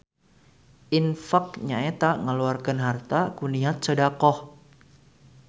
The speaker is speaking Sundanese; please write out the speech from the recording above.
Infaq nyaeta ngaluarkeun harta ku niat sodaqoh